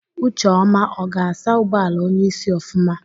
Ucheọma ọ ga-asa ụgbọala onyeisi ofụma?